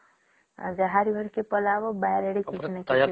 ଆଉ ଯାହାର ଘରକେ ପଳେଇବା ବାରି ଆଡେ କିଛି ନ କିଛି